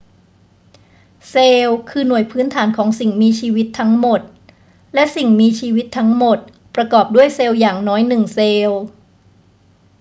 เซลล์คือหน่วยพื้นฐานของสิ่งมีชีวิตทั้งหมด และสิ่งมีชีวิตทั้งหมดประกอบด้วยเซลล์อย่างน้อยหนึ่งเซลล์